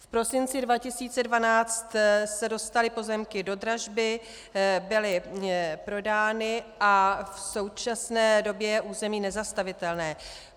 V prosinci 2012 se dostaly pozemky do dražby, byly prodány a v současné době je území nezastavitelné.